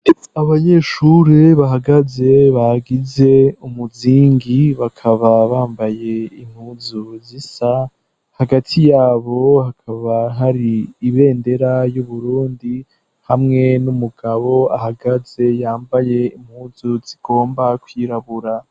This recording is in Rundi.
Abanyeshuri bahagaze bagize umuzingi bakaba bambaye impuzu zisa, hagati yabo hakaba hari ibendera y'uburundi hamwe n'umugabo ahagaze yambaye impuzu zigomba kwirabura.